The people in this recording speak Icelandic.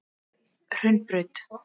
Hraunbraut